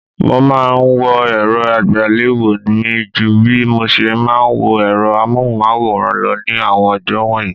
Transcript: Mo máa ńwo èrò àgbéléwò mi ju bí moṣe máa ń wo èrọ amóhùnmáwòrán lọ ní àwọn ọjọ́ wọ̀nyí.